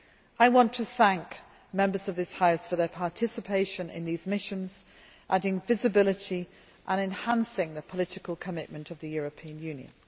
I want to thank Members of this House for their participation in these missions, adding visibility and enhancing the political commitment of the European Union.